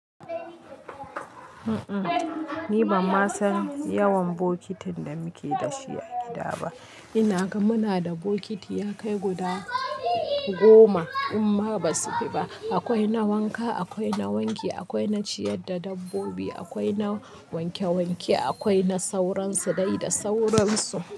Mm-mm, ni ban ma san yawan bokitin da muke da shi a gida ba. Ina ga muna da bokiti ya kai guda goma, in ma ba su fi ba. Akwai na wanka, akwai na wanki, akwai na ciyar da dabbobi, akwai na wanke-wanke, akwai na sauransu dai da sauransu.